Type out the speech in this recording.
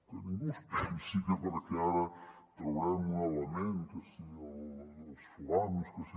que ningú es pensi que perquè ara traurem un element que si els foams que si